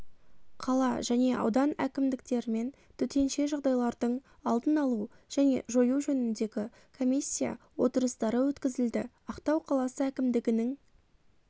қала және аудан әкімдіктерімен төтенше жағдайлардың алдын-алу және жою жөніндегі комиссия отырыстары өткізілді ақтау қаласы әкімдігінің